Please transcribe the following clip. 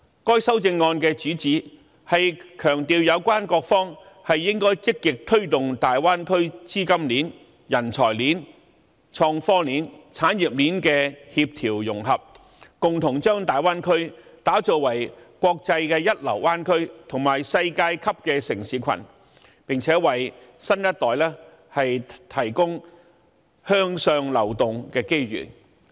該修正案的主旨是強調有關各方應積極推動大灣區資金鏈、人才鏈、創科鏈及產業鏈的協調融合，共同把大灣區打造為國際一流灣區及世界級的城市群，並且為新一代提供向上流動的機遇。